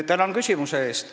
Tänan küsimuse eest!